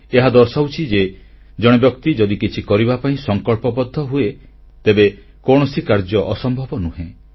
ଏହା ଦର୍ଶାଉଛି ଯେ ଜଣେ ବ୍ୟକ୍ତି ଯଦି କିଛି କରିବା ପାଇଁ ସଂକଳ୍ପବଦ୍ଧ ହୁଏ ତେବେ କୌଣସି କାର୍ଯ୍ୟ ଅସମ୍ଭବ ନୁହେଁ